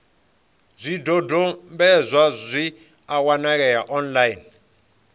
zwidodombedzwa zwi a wanalea online